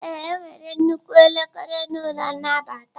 Ee, enwere nnukwu elekere n'ụlọ nnabata.